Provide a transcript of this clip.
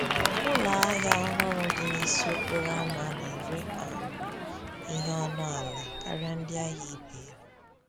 Ụlọ ahịa ọhụrụ dị n’isi okporo ama na-ere um ihe ọnụ ala karịa ndị ahịa ibe ya.